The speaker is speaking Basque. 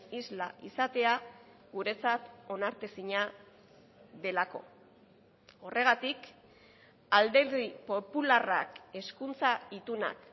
isla izatea guretzat onartezina delako horregatik alderdi popularrak hezkuntza itunak